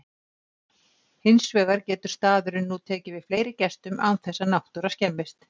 Hins vegar getur staðurinn nú tekið við fleiri gestum án þess að náttúra skemmist.